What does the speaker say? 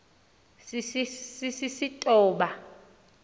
sisistoba